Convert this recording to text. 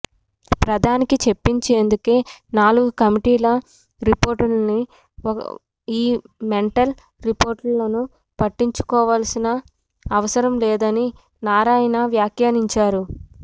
ప్రధానికి చూపించేందుకే నాలుగు కమిటీల రిపోర్టులనీ ఈ మెంటల్ రిపోర్టులను పట్టించుకోవాల్సిన అవసరం లేదనీ నారాయణ వ్యాఖ్యానించారు